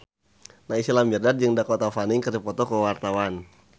Naysila Mirdad jeung Dakota Fanning keur dipoto ku wartawan